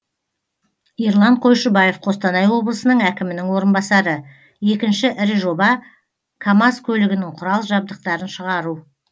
ерлан қойшыбаев қостанай облысының әкімінің орынбасары екінші ірі жоба камаз көлігінің құрал жабдықтарын шығару